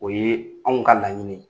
O ye anw ka laɲini ye.